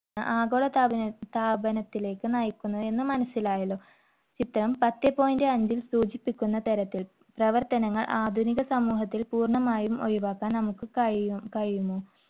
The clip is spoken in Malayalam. ആഗോളതാപനം~താപനത്തിലേക്ക് നയിക്കുന്നുവെന്ന് മനസ്സിലായല്ലോ. ചിത്രം പത്തേ point അഞ്ചിൽ സൂചിപ്പിക്കുന്ന തരത്തിൽ പ്രവർത്തനങ്ങൾ ആധുനിക സമൂഹത്തിൽ പൂർണ്ണമായി ഒഴിവാക്കാൻ നമുക്ക് കഴിയും~കഴിയുമോ?